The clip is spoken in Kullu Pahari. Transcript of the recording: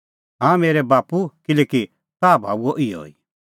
हाँ मेरै बाप्पू किल्हैकि ताह भाऊंआ इहअ ई